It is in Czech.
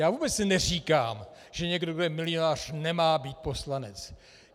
Já vůbec neříkám, že někdo, kdo je milionář, nemá být poslanec.